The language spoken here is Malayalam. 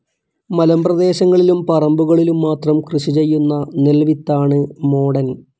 മലമ്പ്രദേശങ്ങളിലും പറമ്പുകളിലും മാത്രം കൃഷിചെയ്യുന്ന നെൽ വിത്താണ് മോടൻ.